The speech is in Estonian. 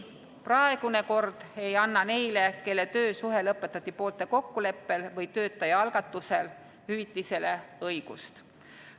Praegune kord ei anna neile, kelle töösuhe lõpetati poolte kokkuleppel või töötaja algatusel, hüvitisele õigust.